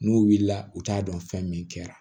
N'u wulila u t'a dɔn fɛn min kɛra